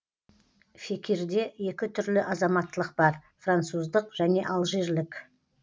фекирде екі түрлі азаматтылық бар француздық және алжирлік